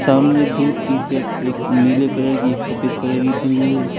सामने दो T shirt एक नीले कलर की एक सफेद कलर की टंगी है।